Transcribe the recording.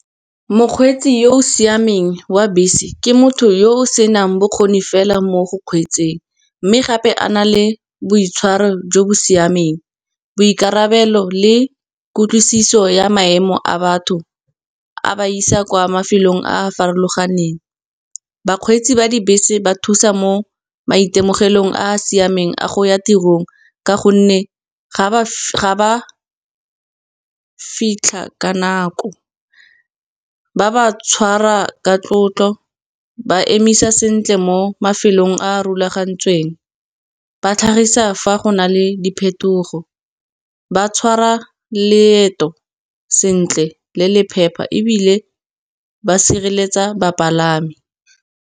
Mokgweetsi yo o siameng wa bese ke motho yo o senang bokgoni fela mo go kgweetseng. Mme gape a na le boitshwaro jo bo siameng, boikarabelo le kutlwisiso ya maemo a batho, a ba isa kwa mafelong a a farologaneng. Bakgweetsi ba dibese ba thusa mo maitemogelong a a siameng, a go ya tirong ka gonne ga ba fitlha ka nako, ba ba tshwara ka tlotlo ba emisa sentle mo mafelong a a rulagantsweng. Ba tlhagisa fa go na le diphetogo ba tshwara leeto sentle le le phepa ebile ba sireletsa bapalami.